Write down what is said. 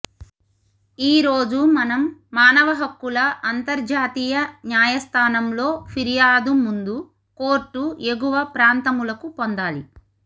ఈ రోజు మనం మానవ హక్కుల అంతర్జాతీయ న్యాయస్థానంలో ఫిర్యాదు ముందు కోర్టు ఎగువ ప్రాంతములకు పొందాలి